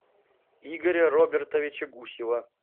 игоря робертовича гусева